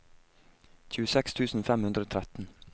tjueseks tusen fem hundre og tretten